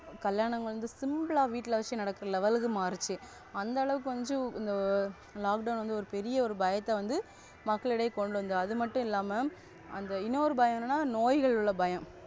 கல்யாணம் Simple வீட்ல வச்சு நடத்துற Level மாறுச்சு. அந்த அளவுக்கு வந்து இந்த Lockdown வந்து ஒரு பெரிய பயத்தை வந்து மக்கள் இடையே கொண்டு வந்துட்டாங்க. அது மாட்டு இல்லாம அந்த இன்னொரு பயம்னா நோய்கள் உள்ள பயம்.